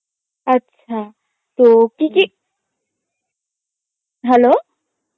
আচ্ছা তো কী কী, hello